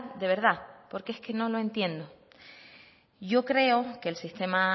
de verdad porque es que no lo entiendo yo creo que el sistema